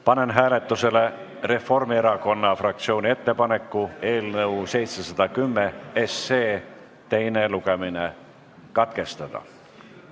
Panen hääletusele Reformierakonna fraktsiooni ettepaneku eelnõu 710 teine lugemine katkestada.